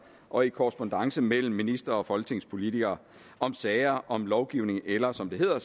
og i korrespondance mellem ministre og folketingspolitikere om sager om lovgivning eller som det hedder